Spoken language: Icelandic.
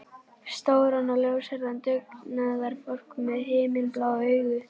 Stóran og ljóshærðan dugnaðarfork með himinblá augu.